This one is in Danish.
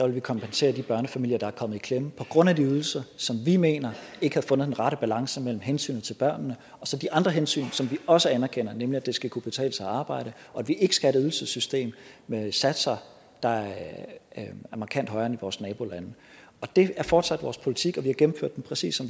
vi kompensere de børnefamilier der er kommet i klemme på grund af de ydelser som vi mener ikke har fundet den rette balance mellem hensynet til børnene og så de andre hensyn som vi også anerkender nemlig at det skal kunne betale sig at arbejde og at vi ikke skal have et ydelsessystem med satser der er markant højere end i vores nabolande det er fortsat vores politik og vi har gennemført den præcis